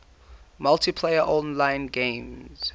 multiplayer online games